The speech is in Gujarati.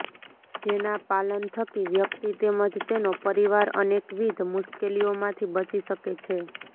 જેના પાલન થકી વ્યક્તિ તેમજ તેનો પરિવાર અનેકવિધ મુશ્કેલીઓ માંથી બચી શકે છે